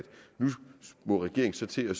nu må regeringen så til at